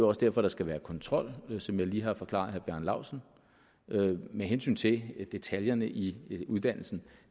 også derfor der skal være kontrol som jeg lige har forklaret herre bjarne laustsen med hensyn til detaljerne i uddannelsen